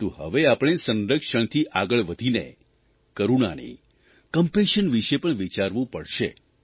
પરંતુ હવે આપમે સંરક્ષણથી આગળ વધીને કરૂણાની કંપેશન વિષે પણ વિચારવું જ પડશે